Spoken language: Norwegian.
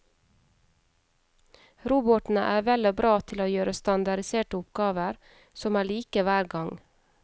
Robotene er vel og bra til å gjøre standardiserte oppgaver som er like hver gang.